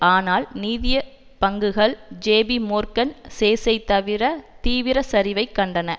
ஆனால் நீதியப் பங்குகள் ஜேபி மோர்கன் சேசை தவிர தீவிர சரிவைக் கண்டன